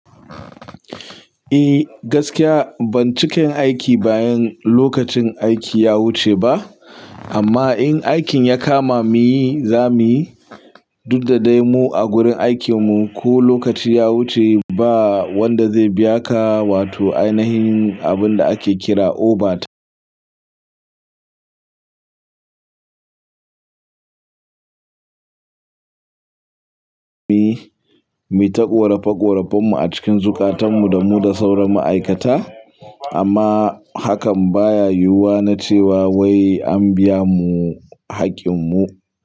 Eh gaskiya ban cika yin aiki bayan lokacin aiki ya wuce ba, amma in aikin ya kama mu yi za mu yi, duk da dai mu a gurin aikin mu ko lokaci ya wuce ba wanda zai biya ka wato ainihin abin da ake kira overtime. Mi ta ƙorafa ƙorafen mu a cikin zukatan mu da mu da sauran ma'aikata. Amma hakan baya yiwuwa na cewa wai an biya mu haƙƙin mu.